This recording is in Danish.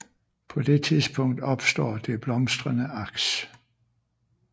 På det tidspunkt opstår det blomstrende aks